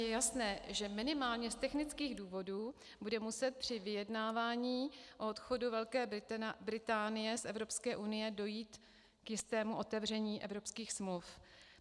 Je jasné, že minimálně z technických důvodů bude muset při vyjednávání o odchodu Velké Británie z Evropské unie dojít k jistému otevření evropských smluv.